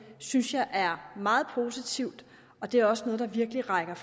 synes jeg er meget positivt og det er også noget der virkelig peger